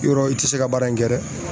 Yɔrɔ i te se ka baara in kɛ dɛ